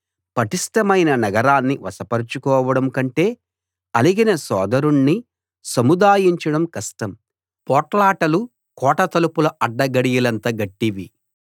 పటిష్టమైన నగరాన్ని వశపరచుకోవడం కంటే అలిగిన సోదరుణ్ణి సముదాయించడం కష్టం పోట్లాటలు కోట తలుపుల అడ్డగడియలంత గట్టివి